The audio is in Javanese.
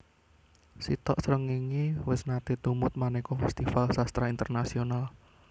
Sitok Srengenge wis nate tumut maneka festival sastra internasional